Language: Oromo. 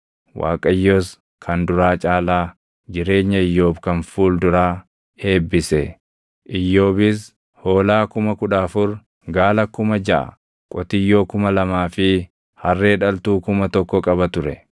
Waaqayyos kan duraa caalaa jireenya Iyyoob kan fuul duraa eebbise. Iyyoobis hoolaa kuma kudha afur, gaala kuma jaʼa, qotiyyoo kuma lamaa fi harree dhaltuu kuma tokko qaba ture.